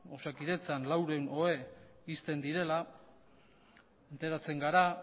osakidetzan laurehun ohe ixten direla enteratzen gara